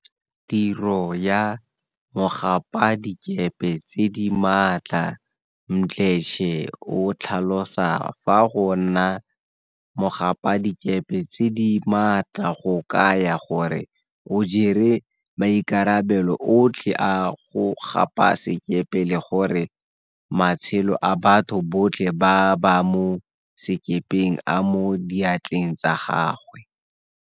Tiro ya mogapadikepe tse di maatla Mdletshe o tlhalosa fa go nna mogapadikepe tse di maatla go kaya gore o jere maikarabelo otlhe a go gapa sekepe le gore matshelo a batho botlhe ba ba mo sekepeng a mo diatleng tsa gagwe.